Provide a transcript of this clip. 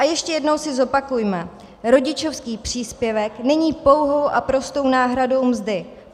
A ještě jednou si zopakujme, rodičovský příspěvek není pouhou a prostou náhradou mzdy.